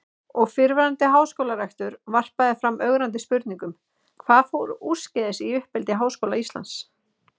Og fyrrverandi háskólarektor varpaði fram ögrandi spurningum: Hvað fór úrskeiðis í uppeldi Háskóla Íslands?